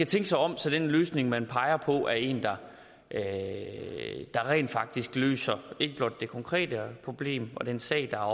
tænke sig om så den løsning man peger på er en der rent faktisk løser det konkrete problem og den sag der er